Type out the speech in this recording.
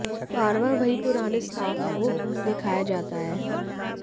बार बार वहीं पुराने स्टाफ को दिखाया जाता है